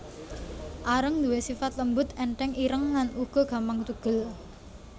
Areng duwé sifat lembut ènthèng ireng lan uga gampang tugel